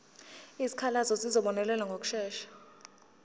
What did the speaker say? izikhalazo zizobonelelwa ngokushesha